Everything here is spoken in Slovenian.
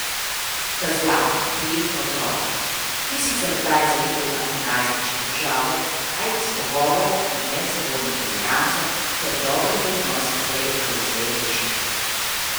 Sta zlata, prijetna otroka, ki sicer kdaj zaideta v najstniške težave, a jih s pogovorom in medsebojno toleranco ter dobrimi odnosi prej ali slej rešite.